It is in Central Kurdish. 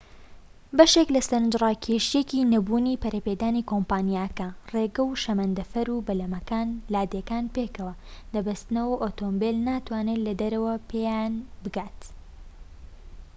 بەشێك لە سەرنجڕاکێشەیەکی نەبوونی پەرەپێدانی کۆمپانیاکانە ڕێگە و شەمەندەفەر و بەلەمەکان لادێکان پێکەوە دەبەستنەوە و ئۆتۆمبیل ناتوانێت لەدەرەوەوە پێیان بگات